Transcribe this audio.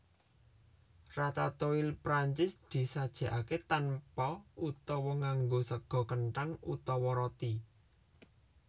Ratatouille Prancis disajèkaké tanpa utawa nganggo sega kenthang utawa roti